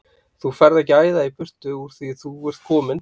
Þú ferð ekki að æða í burtu úr því að þú ert kominn!